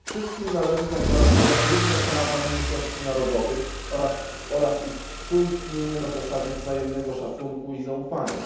Wszystkim należy zagwarantować równe prawa mniejszości narodowych oraz ich współistnienie na zasadzie wzajemnego szacunku i zaufania.